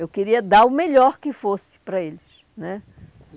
Eu queria dar o melhor que fosse para eles, né?